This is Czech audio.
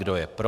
Kdo je pro?